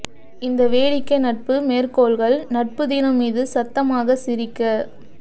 இந்த வேடிக்கை நட்பு மேற்கோள்கள் நட்பு தினம் மீது சத்தமாக சிரிக்க